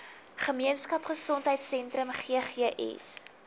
gemeenskap gesondheidsentrum ggs